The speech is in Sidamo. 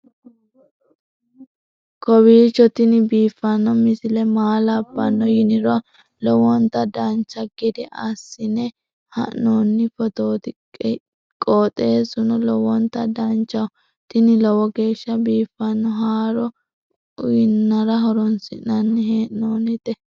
kowiicho tini biiffanno misile maa labbanno yiniro lowonta dancha gede assine haa'noonni foototi qoxeessuno lowonta danachaho. tini lowo geeshsha biiffanno haaro uyannara horoonsi'nanni hee'noonite